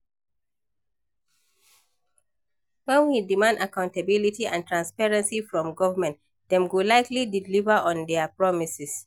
When we demand accountability and transparency from government, dem go likely deliver on dia promises.